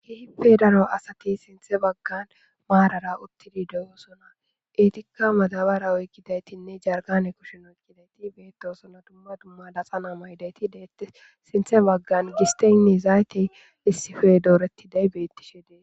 kehippe daro asati sintthhe baggan Marara uttidi de'ossona etikka maddabara oykkidaytinne jarkkane kushshen oykkidi bettosona duma duma laxxana mayidayitinne sintha baggara gisteyinne zayitey dorretiday bettes.